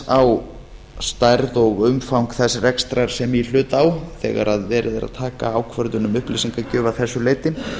á stærð og umfang þess rekstrar sem í hlut á þegar verið er að taka ákvörðun um upplýsingagjöf að þessu leyti